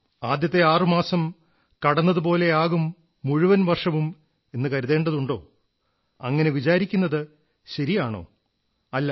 ആദ്യത്തെ 6 മാസങ്ങൾ കടന്നുപോയതുപോലെയാകും മുഴുവൻ വർഷവും എന്നും കരുതേണ്ടതുണ്ടോ അങ്ങനെ വിചാരിക്കുന്നത് ശരിയാണോ അല്ല